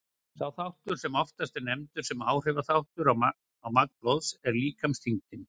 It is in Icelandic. Sá þáttur sem oftast er nefndur sem áhrifaþáttur á magn blóðs er líkamsþyngdin.